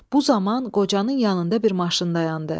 Bu zaman qocanın yanında bir maşın dayandı.